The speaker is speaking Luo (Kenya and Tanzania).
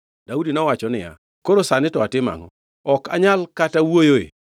Daudi nowacho niya, “Koro sani to atimo angʼo? Ok anyal kata wuoyoe?”